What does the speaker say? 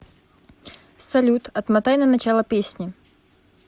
салют отмотай на начало песни